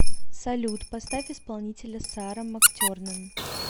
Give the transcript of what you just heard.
салют поставь исполнителя сара мактернан